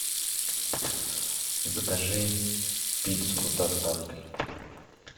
закажи пиццу с доставкой